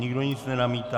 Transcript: Nikdo nic nenamítá.